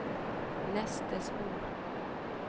neste spor